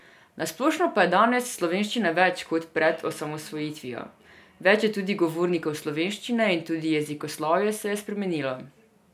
Na splošno pa je danes slovenščine več, kot pred osamosvojitvijo, več je tudi govornikov slovenščine in tudi jezikoslovje se je spremenilo.